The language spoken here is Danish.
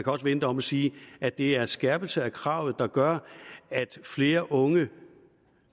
også vende det om og sige at det er en skærpelse af kravet der gør at flere unge